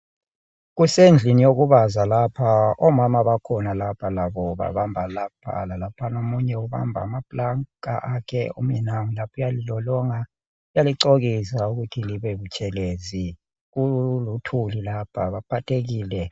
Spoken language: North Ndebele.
Kusendlini yokubaza lapha, omama bakhona lapha labo babamba lapha lalaphana. Omunye ubamba amaplanka akhe, omunye nangu uyalilolonga uyalicokisa ukuthi libebutshelezi, kuluthuli lapha baphathekile.